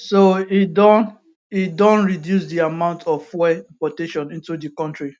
so e don e don reduce di amount of fuel importation into di kontri